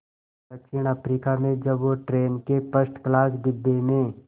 दक्षिण अफ्रीका में जब वो ट्रेन के फर्स्ट क्लास डिब्बे में